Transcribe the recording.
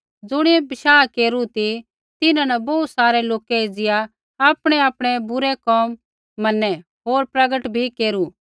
ज़ुणियै विश्वास केरू ती तिन्हां न बोहू सारै लोकै एज़िया आपणैआपणै बुरै कोम मनै होर प्रगट बी केरू